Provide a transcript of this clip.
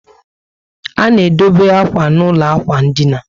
A na edobe akwa n' ụlọ ikwụ ndina